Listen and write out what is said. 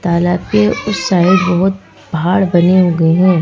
तालाब के उस साइड बहुत पहाड़ बने हुए हैं।